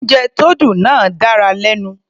Oúnjẹ tó dùn náà dára lẹ́nu.